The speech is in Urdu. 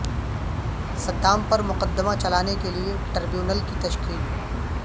صدام پر مقدمہ چلانے کے لئے ٹر بیونل کی تشکیل